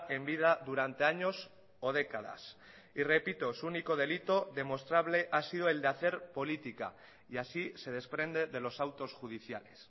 en vida durante años o décadas y repito su único delito demostrable ha sido el de hacer política y así se desprende de los autos judiciales